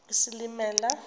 isilimela